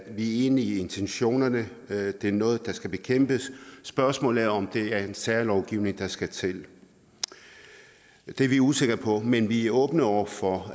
enige i intentionerne at det er noget der skal bekæmpes spørgsmålet er om det er en særlovgivning der skal til det er vi usikre på men vi er åbne over for